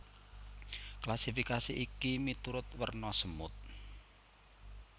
Klasifikasi iki miturut werna semut